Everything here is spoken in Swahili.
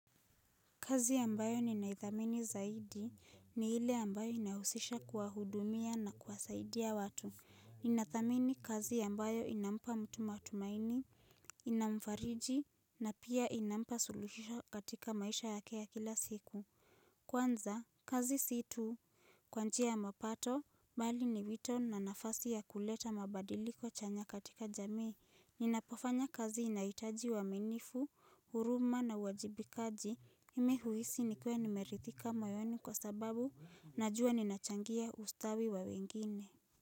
Kazi ambayo ninaithamini zaidi, ni ile ambayo inahusisha kuwahudumia na kuwasaidia watu. Ninathamini kazi ambayo inampa mtu matumaini, inamfariji, na pia inampa suluhisho katika maisha yake ya kila siku. Kwanza, kazi si tu kwa njia ya mapato, bali ni wito na nafasi ya kuleta mabadiliko chanya katika jamii. Ninapofanya kazi inahitaji uaminifu, huruma na uwajibikaji mimi huhisi nikiwa nimeridhika moyoni kwa sababu najua ninachangia ustawi wa wengine.